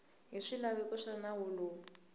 hi swilaveko swa nawu lowu